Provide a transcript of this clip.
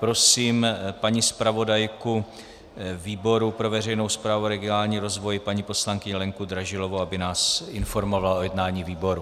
Prosím paní zpravodajku výboru pro veřejnou správu a regionální rozvoj paní poslankyni Lenku Dražilovou, aby nás informovala o jednání výboru.